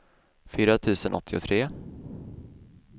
fyra tusen åttiotre